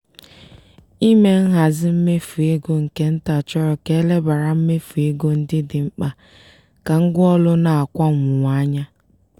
ime nhazi mmefu ego nke nta chọrọ ka e lebara mmefu ego ndị dị mkpa ka ngwaụlọ na akwa mwụwa anya.